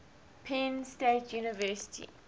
penn state university